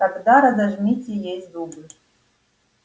тогда разожмите ей зубы